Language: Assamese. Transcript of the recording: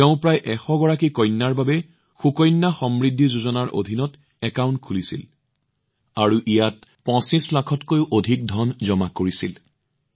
তেওঁ প্ৰায় ১০০গৰাকী কন্যাৰ বাবে সুকন্যা সমৃদ্ধি যোজনাৰ অধীনত একাউণ্ট খুলিছিল আৰু ইয়াত ২৫লাখতকৈও অধিক টকা জমা কৰিছিল